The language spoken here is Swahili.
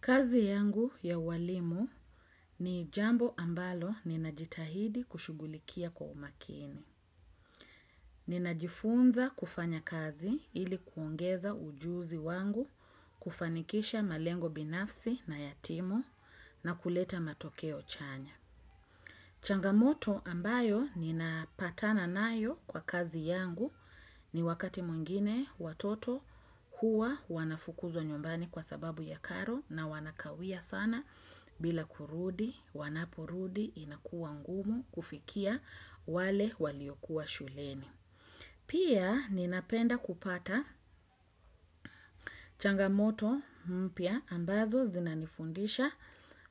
Kazi yangu ya walimu ni jambo ambalo ninajitahidi kushugulikia kwa umakini. Ninajifunza kufanya kazi ili kuongeza ujuzi wangu, kufanikisha malengo binafsi na yatimu na kuleta matokeo chanya. Changamoto ambayo nina patana nayo kwa kazi yangu ni wakati mwingine watoto hua wanafukuzwa nyumbani kwa sababu ya karo na wanakawia sana. Bila kurudi, wanaporudi, inakuwa ngumu kufikia wale waliyokuwa shuleni. Pia ninapenda kupata changamoto mpia ambazo zinanifundisha